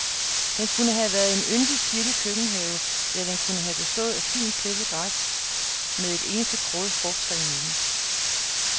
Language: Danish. Den kunne have været en yndig, sirlig køkkenhave, eller den kunne have bestået af fint, klippet græs med et eneste kroget frugttræ i midten.